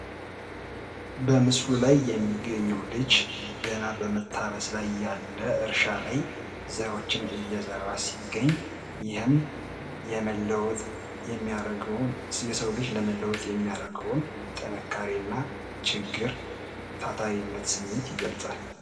በምስሉ ላይ የሚታየው ልጅ ገና በመታረስ ላይ ያለ እርሻ ላይ ዘሮችን እየዘራ ሲገኝ፤ ይህም የሰው ልጅ ለመለወጥ የሚያደርገውን ጥንካሬ እና ችግር ታታሪነት ስሜት ይገልጻል።